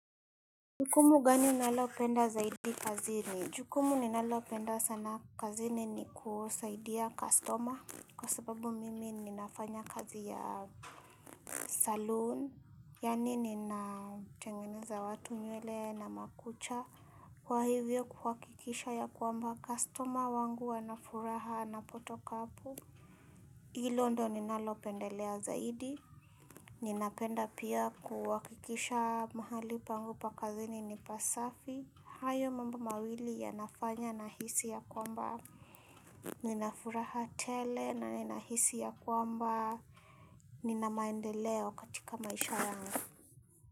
Jukumu gani unalopenda zaidi kazini? Jukumu ninalopenda sana kazini ni kusaidia customer kwa sababu mimi ninafanya kazi ya saloon. Yani ninatengeneza watu nywele na makucha kwa hivyo kuhakikisha ya kwamba customer wangu wanafuraha napotoka hapo Ilo ndo ninalopendelea zaidi, ninapenda pia kuhakikisha mahali pangu pa kazini ni pasafi, hayo mambo mawili yanafanya nahisi ya kwamba, ninafuraha tele na nina hisi ya kwamba, nina maendeleo katika maisha yangu.